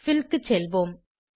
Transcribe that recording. bill க்கு செல்வோம்